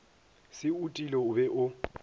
se otile o be o